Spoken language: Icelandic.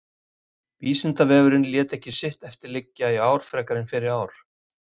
Vísindavefurinn lét ekki sitt eftir liggja í ár frekar en fyrri ár.